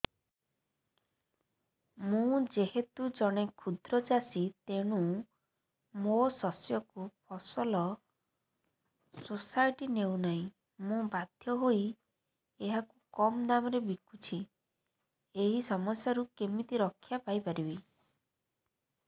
ମୁଁ ଯେହେତୁ ଜଣେ କ୍ଷୁଦ୍ର ଚାଷୀ ତେଣୁ ମୋ ଶସ୍ୟକୁ ଫସଲ ସୋସାଇଟି ନେଉ ନାହିଁ ମୁ ବାଧ୍ୟ ହୋଇ ଏହାକୁ କମ୍ ଦାମ୍ ରେ ବିକୁଛି ଏହି ସମସ୍ୟାରୁ କେମିତି ରକ୍ଷାପାଇ ପାରିବି